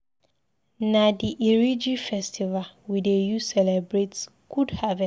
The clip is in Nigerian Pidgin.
Na di Iriji festival we dey use celebrate good harvest.